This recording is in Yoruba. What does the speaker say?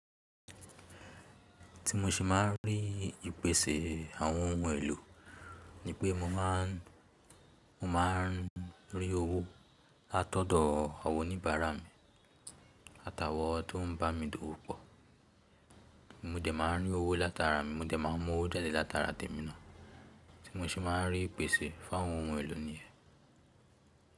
Tí mo ṣe máa ń rí ìpèsè àwọn ohun èlò, ni pé mo máá, mo máá ń rí owó látọ̀dọ̀ àwọn oníbàárà mi àtà wọ̀n tó ń bá mi dòwó pọ̀. Mo dẹ̀ máa ń rí owó látara mi, mo dẹ̀ máa ń mú owó jáde látara tèmi ná. Tí mo ṣe máa ń rí ìpèsè fún àwọn ohun èlò nìyẹn.